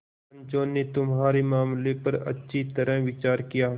पंचों ने तुम्हारे मामले पर अच्छी तरह विचार किया